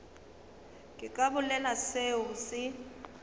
ke ka bolela seo se